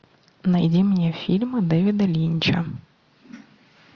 найди мне фильмы дэвида линча